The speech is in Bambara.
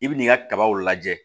I bi n'i ka kabaw lajɛ